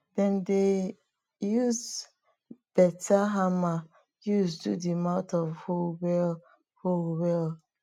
dem dey use beta hammer use do di mouth of hoe well hoe well